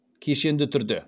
кешенді түрде